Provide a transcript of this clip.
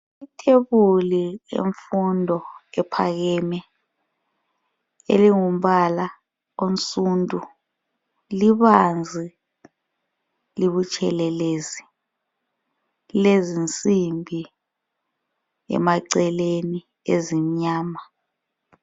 Ithebuli yemfundo ephakame elingu mbala onsundu libanzi, libutshelelezi lilezinsimbi emaceleni ezimnyama.